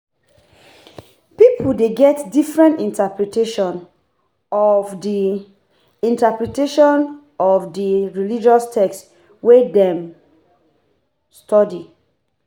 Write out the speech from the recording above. Pipo de get different interpretation of di interpretation of di religious text wey dem study